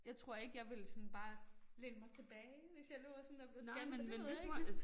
Jeg tror ikke jeg ville sådan bare læne mig tilbage hvis jeg lå og sådan og blev scannet men det ved jeg ikke